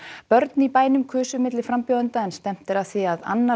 börn í bænum kusu milli frambjóðenda en stefnt er að því að annar